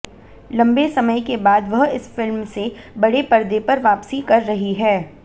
लंबे समय के बाद वह इस फिल्म से बड़े पर्दे पर वापसी कर रही हैं